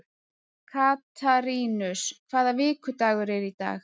Katarínus, hvaða vikudagur er í dag?